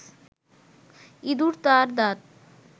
ইঁদুর তার দাঁত